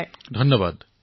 প্ৰধানমন্ত্ৰীঃ ধন্যবাদ